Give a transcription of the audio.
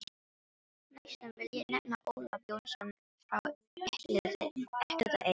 Næstan vil ég nefna Ólaf Jónsson frá Elliðaey.